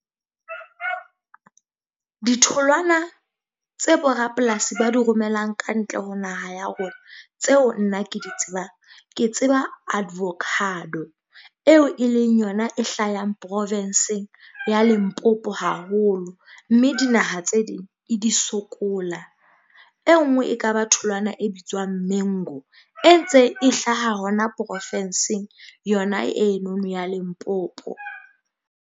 Ditholwana tse borapolasi ba di romelang ka ntle ho naha ya rona. Tseo nna ke di tsebang ke tseba advocado eo e leng yona e hlahang provenseng ya Limpopo haholo. Mme dinaha tse ding e di sokola. E nngwe e ka ba tholwana e bitswang mengu e ntse e hlaha hona profensing yona eno ya Limpopo.